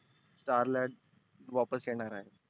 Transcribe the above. starlight वापस येणार आहे.